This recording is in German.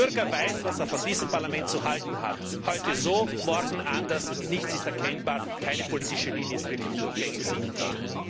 Der Bürger weiß, was er von diesem Parlament zu halten hat. Heute so, morgen anders, nichts ist erkennbar, keine politische Linie ist wirklich durchgängig sichtbar.